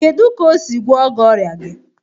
Kedu ka o si gwo gị ọrịa gị?